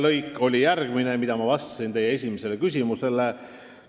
Lõik, mida ma vastasin teie esimesele küsimusele, oli järgmine.